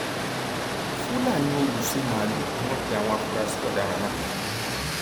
fúlàní olùṣín máàlù ni wọn pe àwọn afurasí ọdaràn náà